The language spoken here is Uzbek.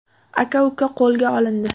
Aka-uka qo‘lga olindi.